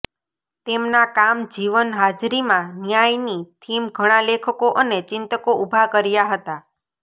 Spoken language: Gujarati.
તેમના કામ જીવન હાજરીમાં ન્યાય ની થીમ ઘણા લેખકો અને ચિંતકો ઊભા કર્યા હતા